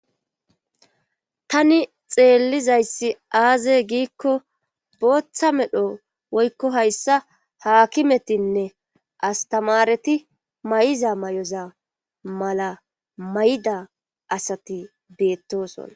tani xeellizayssi aaze giikko booththa medho woykko hayssa haakimetinne astamareti mayiza mayoza mala mayida asati beettosona.